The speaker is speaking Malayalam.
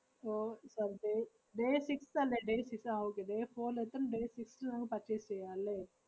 ഓ ഇപ്പ day day six അല്ലേ day six ആഹ് okay day four ല് എത്തും day six ല് നമ്മക്ക് purchase ചെയ്യാം അല്ലേ?